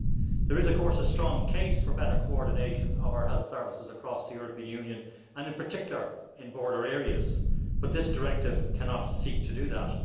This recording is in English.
There is, of course, a strong case for better coordination of our health services across the European Union and in particular in border areas, but this directive cannot seek to do that.